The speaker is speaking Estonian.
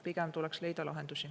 Pigem tuleks leida lahendusi.